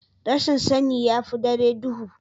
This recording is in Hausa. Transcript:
rashin sani ya fi dare duhu